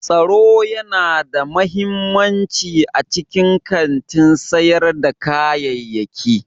Tsaro yana da mahimmanci a cikin kantin sayar da kayayyaki.